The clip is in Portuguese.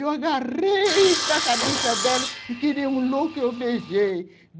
Eu agarrei na cabeça dela e, que nem um louco, eu beijei.